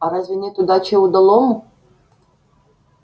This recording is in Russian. а разве нет удачи удалому